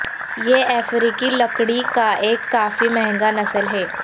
یہ افریقی لکڑی کا ایک کافی مہنگا نسل ہے